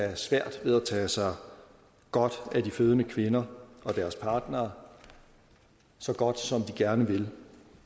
have svært ved at tage sig godt af de fødende kvinder og deres partnere så godt som de gerne vil